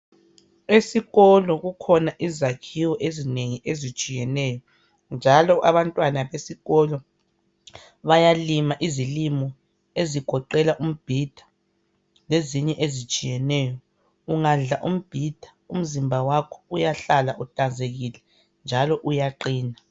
Esikolo kukhona izakhiwo ezinengi ezitshiyeneyo njalo abantwana besikolo bayalima izilimo ezigoqela umbhida lezinye ezitshiyeneyo. Ungadla umbhida umzimba wakho uyahlala uhlanzekile njalo uyaqina.